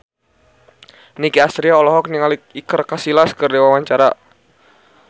Nicky Astria olohok ningali Iker Casillas keur diwawancara